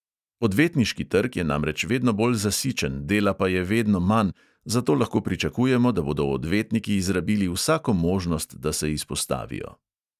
Odvetniški trg je namreč vedno bolj zasičen, dela pa je vedno manj, zato lahko pričakujemo, da bodo odvetniki izrabili vsako možnost, da se izpostavijo.